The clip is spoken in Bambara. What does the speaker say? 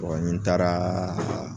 ni n taaraa a